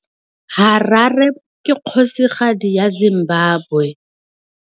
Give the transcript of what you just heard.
Harare ke kgosigadi ya Zimbabwe.